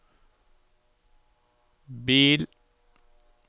bil